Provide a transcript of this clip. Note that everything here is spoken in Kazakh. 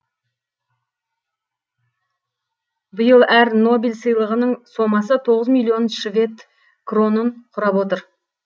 биыл әр нобель сыйлығының сомасы тоғыз миллион швед кронын құрап отыр